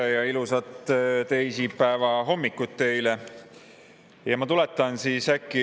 Tere ja ilusat teisipäeva hommikut teile!